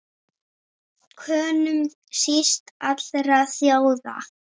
Könum síst allra þjóða!